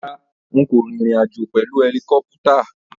Rárá, n kò rìnrìn àjò pèlu ẹlikọ́pútà.